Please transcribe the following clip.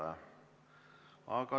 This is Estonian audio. Ei ole.